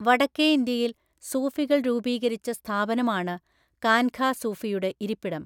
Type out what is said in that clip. വടക്കേ ഇന്ത്യയിൽ സൂഫികൾ രൂപീകരിച്ച സ്ഥാപനമാണ് കാൻഘ സൂഫി യുടെ ഇരിപ്പിടം.